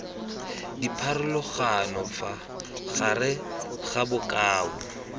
dipharologano fa gare ga bokao